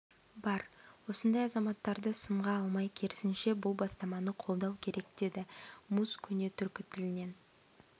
бар осындай азаматтарды сынға алмай керісінше бұл бастаманы қолдау керек деді муз көне түркі тілінен